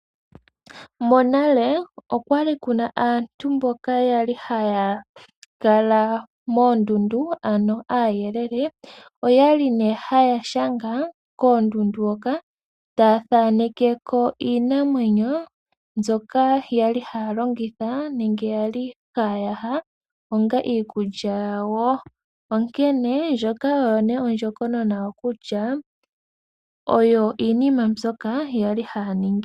Monale okwa li kuna aantu mboka yali haya kala moondundu. Ano aayelele oyali nee haya shanga koondundu hoka, taya thaaneke ko iinamwenyo mbyoka yali haya longitha nenge yali haya yaha, onga iikulya yawo. Onkene ndjoka oyo nee ondjokonona yawo kutya, oyo iinima mbyoka yali haya ningi.